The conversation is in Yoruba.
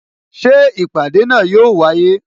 Ṣé ìpàdé náà yo wáyé?